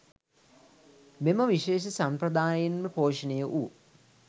මෙම විශේෂ සම්ප්‍රදායෙන්ම පෝෂණය වූ